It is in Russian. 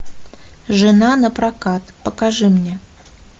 жена напрокат покажи мне